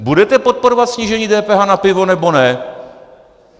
Budete podporovat snížení DPH na pivo, nebo ne?